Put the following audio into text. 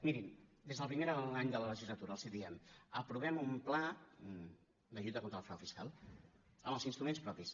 mirin des del primer any de la legislatura els ho diem aprovem un pla de lluita contra el frau fiscal amb els instruments propis